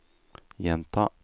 gjenta